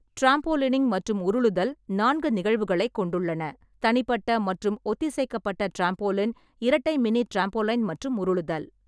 Trampolining மற்றும் உருளுதல் நான்கு நிகழ்வுகளைக் கொண்டுள்ளன, தனிப்பட்ட மற்றும் ஒத்திசைக்கப்பட்ட டிராம்போலின், இரட்டை மினி டிராம்போலைன் மற்றும் உருளுதல்.